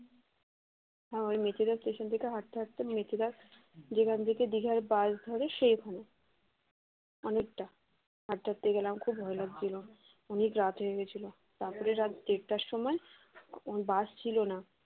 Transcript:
ওই মেচেদা station থেকে হাঁটতে হাঁটতে মিনিট দশ গেলাম যেখান থেকে দীঘার bus ধরে সেখানে অনেকটা হাটতে হাঁটতে গেলাম এ গেলাম খুব ভয় লাগছিল অনেক রাত হয়ে গেছিল তারপরে রাত দেড়টার সময় ওই bus ছিল না